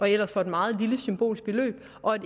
ellers for et meget lille symbolsk beløb og at